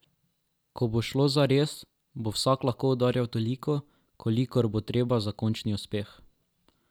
Ko bo šlo zares, bo spet vsak lahko udarjal toliko, kolikor bo treba za končni uspeh.